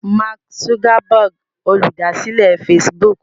Mark Zuckerberg Olùdásílẹ̀ Facebook.